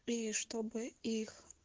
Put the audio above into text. и чтобы их